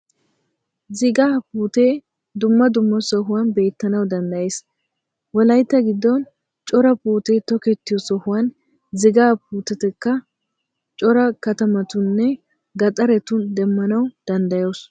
Zigaa puutee dumma dumma sohuwan beettanaw danddayees. Wolayitta giddon cora puutee tokettiyoo sohuwan zigaa puutetakka cora katamatuuninne gaxaretun demmanaw danddayoos.